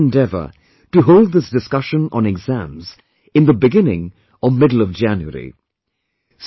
It will be my endeavour to hold this discussion on exams in the beginning or middle of January